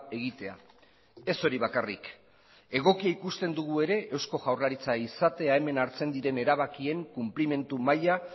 egitea ez hori bakarrik egokia ikusten dugu ere eusko jaurlaritza izatea hemen hartzen diren erabakien konplimendu maila